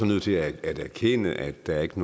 nødt til at erkende at der ikke